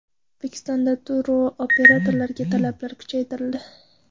O‘zbekistonda turoperatorlarga talablar kuchaytirildi.